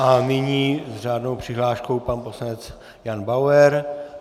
A nyní s řádnou přihláškou pan poslanec Jan Bauer.